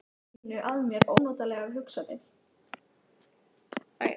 Hvernig ætlar Berglind svo að fagna í kvöld?